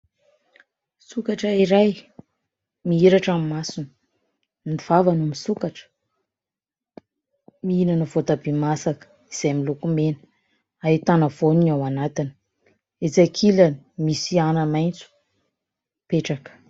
Sokatra iray mihiratra ny masony, ny vavany misokatra mihinana voatabia masaka izay miloko mena ahitana voany ao anatiny, etsy ankilany misy ana-maitso mipetraka.